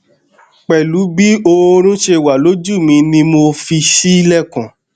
pẹlu bi oorun ṣe wa loju mi ni mo fi ṣilẹkun